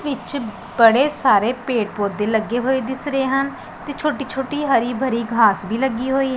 ਵਿੱਚ ਬੜੇ ਸਾਰੇ ਪੇੜ ਪੌਦੇ ਲੱਗੇ ਹੋਏ ਦਿਸ ਰਹੇ ਹਨ ਤੇ ਛੋਟੀ-ਛੋਟੀ ਹਰੀ ਭਰੀ ਘਾਸ ਵੀ ਲੱਗੀ ਹੋਈ --